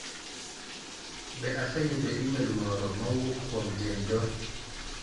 Be aseyudo imel moro ma owuok kuom jane doe?